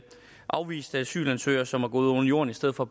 afviste asylansøgere som er gået under jorden i stedet for